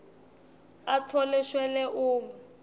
atfole shwele uma